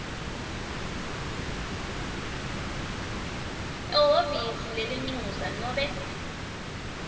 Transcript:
ehhovisi lelincusa nobe